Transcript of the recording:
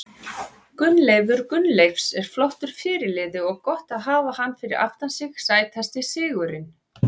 Gunnleifur Gunnleifs er flottur fyrirliði og gott að hafa hann fyrir aftan sig Sætasti sigurinn?